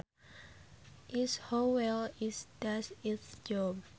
is how well it does its job